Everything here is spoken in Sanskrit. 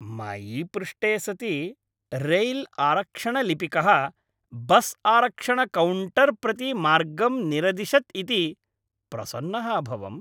मयि पृष्टे सति रैल्आरक्षणलिपिकः बस्आरक्षणकौण्टर् प्रति मार्गं निरदिशत् इति प्रसन्नः अभवम्।